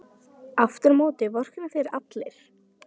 Aftur á móti vorkenna þér allir.